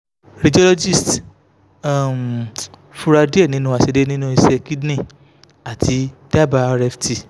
radiologist um fura diẹ ninu aiṣedede ninu iṣẹ kidney ati daba rft